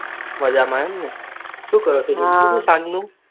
મજામાં અમને સુ કરો છો સાંજનું